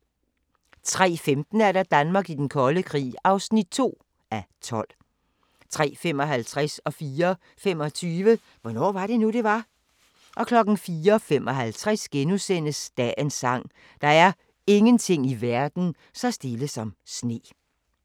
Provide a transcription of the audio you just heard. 03:15: Danmark i den kolde krig (2:12) 03:55: Hvornår var det nu, det var? 04:25: Hvornår var det nu, det var? 04:55: Dagens sang: Der er ingenting i verden så stille som sne *